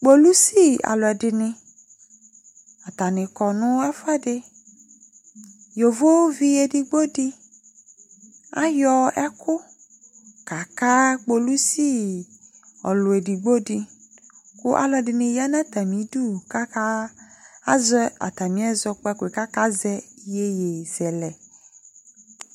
Kpolusi alʋɛdɩnɩ Atanɩ kɔ nʋ ɛfʋɛdɩ Yovovi edigbo dɩ ayɔ ɛkʋ kaka kpolusi ɔlʋ edigbo dɩ kʋ alʋɛdɩnɩ ya nʋ atamɩdu kʋ aka azɛ atamɩ ɛzɔkpako yɛ kʋ akazɛ iyeyezɛlɛ